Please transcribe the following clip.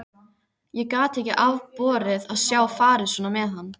Ég gat ekki afborið að sjá farið svona með hann.